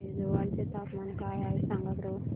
आज ऐझवाल चे तापमान काय आहे सांगा बरं